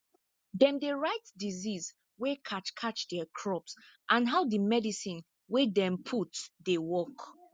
dem dey write disease wey catch catch diir crop and how di medicine wey dem put dey work